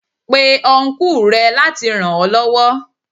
Pe Ọnkú rẹ láti ràn ó lọ́wọ́.